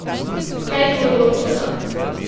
Kaj bo odločilo?